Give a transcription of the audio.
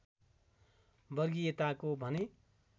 वर्गीयताको भने